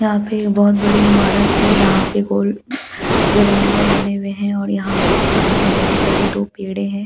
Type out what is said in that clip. यहाँ पे बहुत बड़ी इमारत है जहाँ पे गोल गोलंबर बने हुए है और यहाँ पे सामने बड़े बड़े दो पेड़े है और सामने --